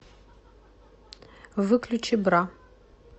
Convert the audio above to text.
выключи бра